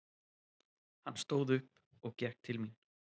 Hann stóð upp og gekk til mín.